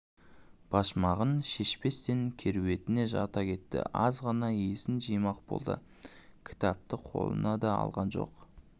башмағын шешпестен керуетіне жата кетті аз ғана есін жимақ болды кітапты қолына да алған жоқ